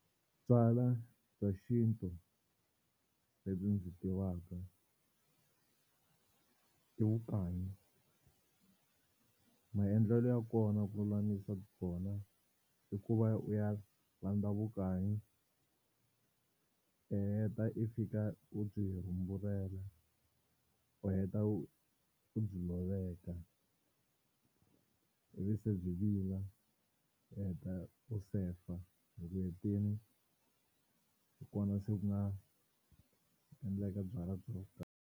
Byalwa bya xintu lebyi ndzi tivaka i vukanyi, maendlelo ya kona ku lulamisa swona i ku va u ya landza vukanyi i heta i fika u byi rhumbulele u heta u u byi loveka ivi se byi vila u heta u sefa loko u hetini hi kona se ku nga endleka byalwa byo.